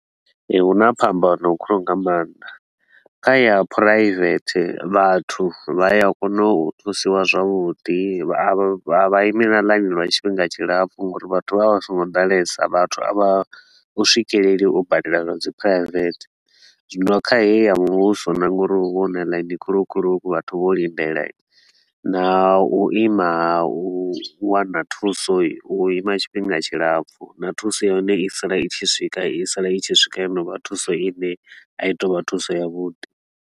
Ee, hu na phambano khulu nga maanḓa, kha ya private vhathu vha ya kona u thusiwa zwavhuḓi, vha a vha imi na ḽainini lwa tshifhinga tshilapfu nga uri vhathu vha vha vha so ngo ḓalesa. Vhathu a vha u swikeleli u badela zwa dzi private, zwino kha heyo ya muvhuso na nga uri hu vha hu na laini khulu khulu vhathu vho lindela hii, na u ima u wana thuso hii, u ima tshifhinga tshilapfu. Na thuso ya hone i tshi sala i tshi swika i sala i tshi swika yo no vha thuso i ne a i to u vha thuso ya vhuḓi.